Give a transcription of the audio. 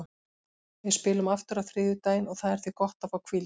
Við spilum aftur á þriðjudaginn og það er því gott að fá hvíld.